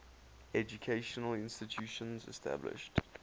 educational institutions established